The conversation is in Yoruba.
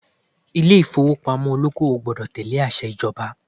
Ilé ìfowópamọ́ olóko-òwò gbọdọ̀ tẹ̀lé àṣẹ ìjọba